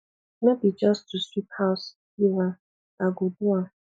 no be just to sweep house leave am i go do am